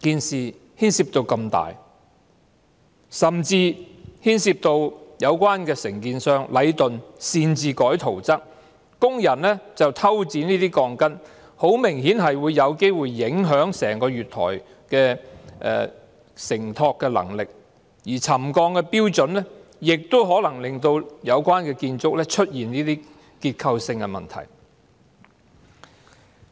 事情牽涉那麼大範圍，甚至牽涉到有關承建商——禮頓建築有限公司——擅自更改圖則，而工人則偷剪鋼筋，很明顯是有機會影響整個月台的承托能力，而沉降標準亦可能令有關建築物出現結構性問題。